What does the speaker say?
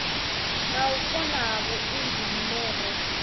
na u kona ha vhuinzhinere